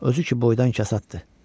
Özü ki boydan kəsaddır.